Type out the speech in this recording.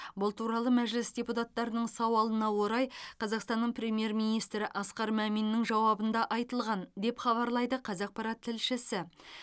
бұл туралы мәжіліс депутаттарының сауалына орай қазақстанның премьер министрі асқар маминнің жауабында айтылған деп хабарлайды қазақпарат тілшісі